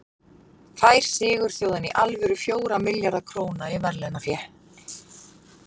Fær sigurþjóðin í alvöru fjóra milljarða króna í verðlaunafé?